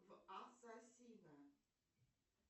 в ассасина